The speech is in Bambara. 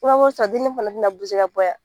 dennin fana tɛna ka bɔ yan